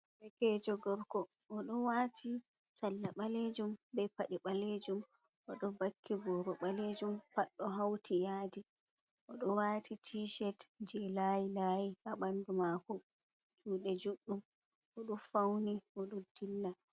Bekejo gorko o do wati salla balejum be pade balejum o do vakki boro balejum paɗdo hauti yadi o do wati tishet je layi layi ha bandu mako jude juddum o do fauni o do dilla.